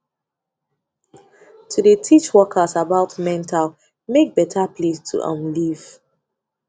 to de teach workers about mental make better place to um live